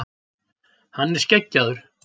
Hann er skeggjaður.